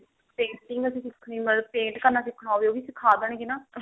painting ਵੀ ਸਿੱਖਣੀ ਮਤਲਬ paint ਕਰਨਾ ਸਿੱਖਣਾ ਉਹ ਵੀ ਸਿਖਾ ਦੇਣਗੇ ਨਾ